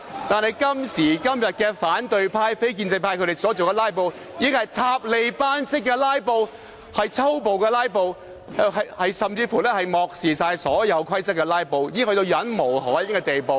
但是，今時今日反對派及非建制派所進行的"拉布"是"塔利班式的拉布"，是粗暴的"拉布"，甚至是漠視所有規則的"拉布"，已達至令人忍無可忍的地步。